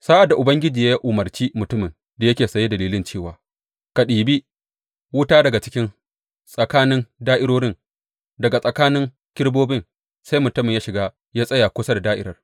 Sa’ad da Ubangiji ya umarci mutumin da yake saye da lilin cewa, Ka ɗibi wuta daga cikin tsakanin da’irorin, daga tsakanin kerubobin, sai mutumin ya shiga ya tsaya kusa da da’irar.